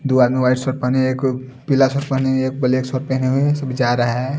दो आदमी white shirt पहने एक पीला शर्ट पहने एक ब्लैक शर्ट पहने हुए सब जा रहा है।